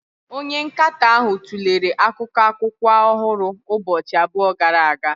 Onye nkatọ ahụ tụlere akụkọ akwụkwọ ọhụrụ ụbọchị abụọ gara aga.